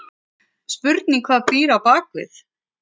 Spurning hvað býr á bakvið?!